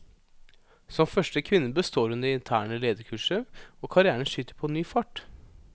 Som første kvinne består hun det interne lederkurset, og karrièren skyter på ny fart.